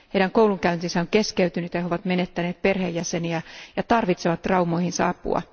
Heidän koulunkäyntinsä on keskeytynyt ja he ovat menettäneet perheenjäseniä ja tarvitset traumoihinsa apua.